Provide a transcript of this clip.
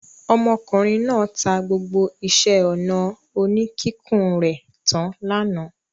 Ọmọkùnrin náà ta gbogbo iṣẹ́-ọnà oníkíkùn rẹ̀ tán lánàá.